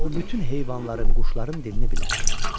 Və o bütün heyvanların, quşların dilini bilər.